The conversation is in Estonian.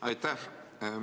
Aitäh!